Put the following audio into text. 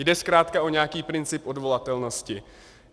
Jde zkrátka o nějaký princip odvolatelnosti.